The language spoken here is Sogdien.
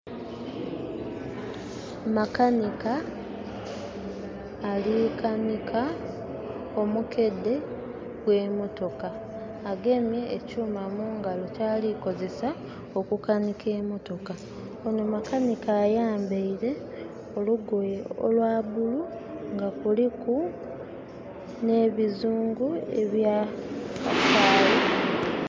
Makanika ali kanika omukedde gw'emotoka. Agemye enkyuma mu ngalo kyali kozesa okukanika emotoka. Onho makanika ayambaile olugoye olwa bulu nga kuliku n'ebizungu ebya kasayi